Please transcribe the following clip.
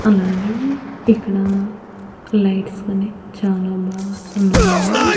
అలాగే ఇక్కడ లైట్స్ కనీ చాలా బాగా ఉన్నాయండి.